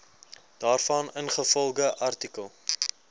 daarvan ingevolge artikel